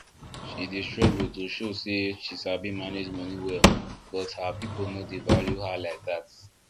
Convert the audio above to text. she dey struggle to show say she sabi manage money well but her people no dey value her like dat